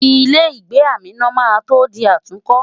Ilé-ìgbé Amina máa tó di àtúnkọ́.